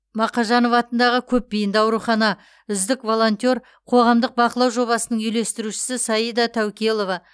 мақажанов атындағы көпбейінді аурухана үздік волонтер қоғамдық бақылау жобасының үйлестірушісі саида тәукелова